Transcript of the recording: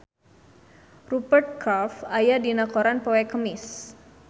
Rupert Graves aya dina koran poe Kemis